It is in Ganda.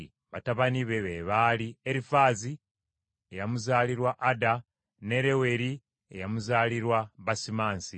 Batabani be baali: Erifaazi eyamuzaalirwa Ada, ne Leweri eyamuzaalirwa Basimansi.